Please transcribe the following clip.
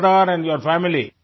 father and your family